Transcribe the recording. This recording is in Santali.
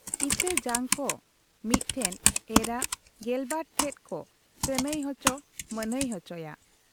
ᱤᱛᱟᱹ ᱡᱟᱝ ᱠᱚ ᱢᱤᱫ ᱴᱷᱮᱫ ᱮᱨᱟᱜ ᱜᱮᱞᱵᱟᱨ ᱴᱷᱮᱫ ᱠᱚ ᱠᱟᱹᱱᱷᱟᱹᱭ ᱚᱪᱚ ᱢᱟᱱᱦᱟᱹᱭ ᱚᱪᱚᱭᱟ ᱾